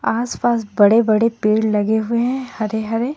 आसपास बड़े-बड़े पेड़ लगे हुए हैं हरे हरे.